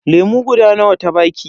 Lemu guda nawa ta baki?